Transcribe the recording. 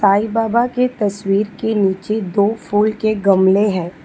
साईं बाबा के तस्वीर के नीचे दो फूल के गमले है।